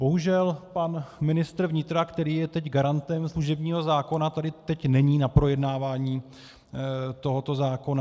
Bohužel pan ministr vnitra, který je teď garantem služebního zákona, tady teď není na projednávání tohoto zákona.